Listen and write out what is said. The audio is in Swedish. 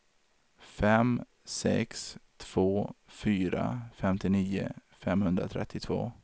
fem sex två fyra femtionio femhundratrettiotvå